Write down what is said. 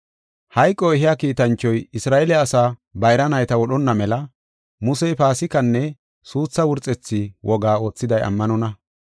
Hayqo ehiya kiitanchoy Isra7eele asaa bayra nayta wodhonna mela Musey Paasikanne suutha wurxetha wogaa oothiday ammanonna.